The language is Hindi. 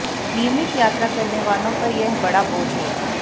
नियमित यात्रा करने वालों पर यह बड़ा बोझ होगा